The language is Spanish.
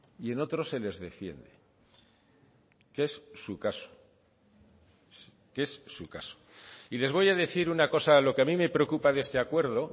y en otros se les defiende que es su caso que es su caso y les voy a decir una cosa lo que a mí me preocupa de este acuerdo